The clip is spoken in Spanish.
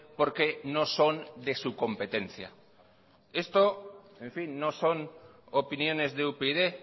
porque no son de su competencia esto en fin no son opiniones de upyd